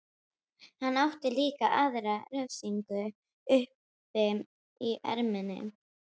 Hann átti líka aðra refsingu uppi í erminni.